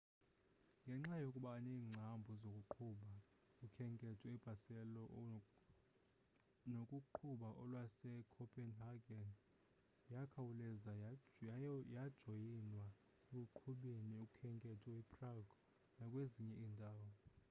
ngenxa yokuba neengcambu zokuqhuba ukhenketho ebarcelo nokuqhuba olwasecopenhageni yakhawuleza yajoyinwa ekuqhubeni ukhenketho eprague nakwezinye iindawo